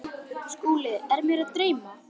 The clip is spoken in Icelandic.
SKÚLI: Er mig enn að dreyma?